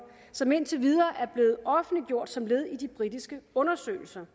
som indtil videre er blevet offentliggjort som led i de britiske undersøgelser